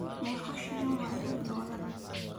Meeqa shilin waa hal dollar?